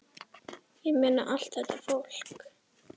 Ég meina, allt þetta fólk!